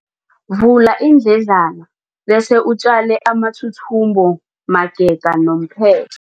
Vula iindledlana bese utjale amathuthumbo magega nomphe